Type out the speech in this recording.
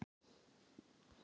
Vill breyta Óskarsverðlaununum